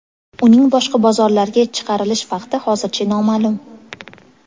Uning boshqa bozorlarga chiqarilish vaqti hozircha noma’lum.